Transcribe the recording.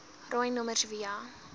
rooi nommers via